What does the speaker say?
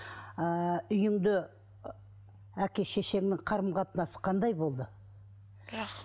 ыыы үйіңде әке шешеңнің қарым қатынасы қандай болды